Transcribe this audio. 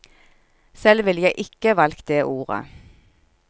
Selv ville jeg ikke valgt det ordet.